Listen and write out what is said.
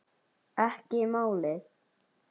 Ekki málið!